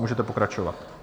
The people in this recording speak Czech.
Můžete pokračovat.